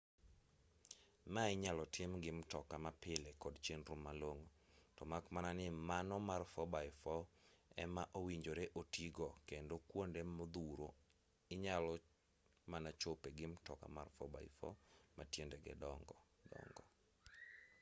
ma inyalo tim gi mtoka ma pile kod chenro malong'o to mak mana ni mano mar 4 x 4 ema owinjore oti go kendo kuonde modhuro inyalo mana chope gi mtoka mar 4x4 ma tiendege dongo dongo